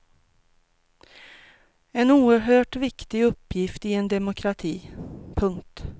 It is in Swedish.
En oerhört viktig uppgift i en demokrati. punkt